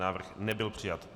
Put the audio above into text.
Návrh nebyl přijat.